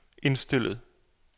indstillet